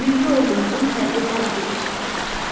Milli ordumuzun hərbi paradı da keçirilir.